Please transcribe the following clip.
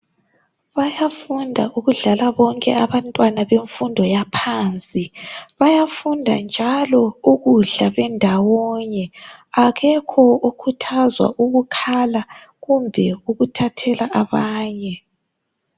Bayafunda ukudlala bonke abantwana bemfundo yaphansi bayafunda njalo ukudla bendawonye akekho okhuthazwa ukukhala kumbe ukuthathela abanye.